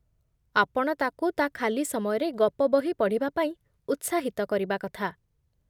ଆପଣ ତାକୁ ତା' ଖାଲି ସମୟରେ ଗପବହି ପଢ଼ିବା ପାଇଁ ଉତ୍ସାହିତ କରିବା କଥା ।